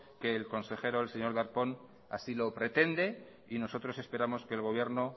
que el consejero el señor darpón así lo pretende y nosotros esperamos que el gobierno